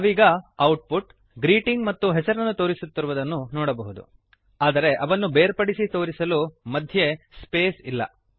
ನಾವೀಗ output greeting ಮತ್ತು ಹೆಸರನ್ನು ತೋರಿಸುತ್ತಿರುವುದನ್ನು ನೋಡಬಹುದು ಆದರೆ ಅವನ್ನು ಬೇರ್ಪಡಿಸಿ ತೋರಿಸಲು ಮಧ್ಯೆ ಸ್ಪೇಸ್ ಜಾಗ ಇಲ್ಲ